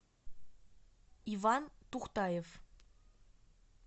иван тухтаев